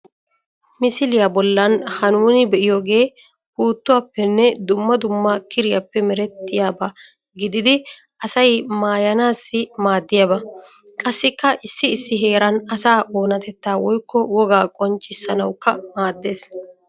Misiliya bollan ha nuuni be'iyoogee puuttuwaappenne dumma dumma kiriyappe merettiyaba gididi asay maayanaassi maaddiyaba. Qassikka issi issi heeran asaa oonatettaa woykko wogaa qonccissanawukka maaddeees.